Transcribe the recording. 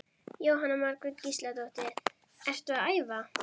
Jóhanna Margrét Gísladóttir: Ertu að æfa?